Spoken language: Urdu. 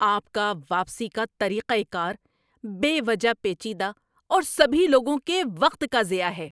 آپ کا واپسی کا طریقۂ کار بے وجہ پیچیدہ اور سبھی لوگوں کے وقت کا ضیاع ہے۔